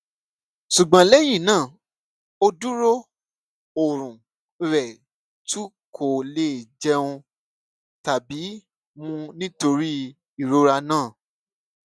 ṣùgbọn lẹyìn náà ó dúró ọrùn rẹ tú kò lè jẹun tàbí mu nítorí ìrora náà